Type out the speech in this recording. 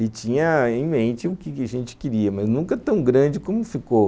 E tinha em mente o que a gente queria, mas nunca tão grande como ficou.